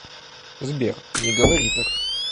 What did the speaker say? сбер не говори так